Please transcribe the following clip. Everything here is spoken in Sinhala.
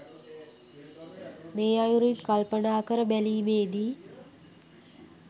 මේ අයුරින් කල්පනා කර බැලීමේදී